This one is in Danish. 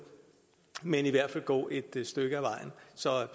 men i hvert fald gå et stykke ad vejen så